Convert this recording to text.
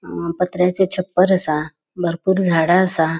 अ पत्र्याचे छप्पर असा बरपुर झाडा असा.